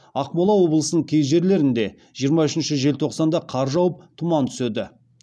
ақмола облысының кей жерлерінде жиырма үшінші желтоқсанда қар жауып тұман түседі